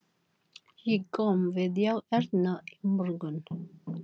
Ég kom við hjá Ernu í morgun.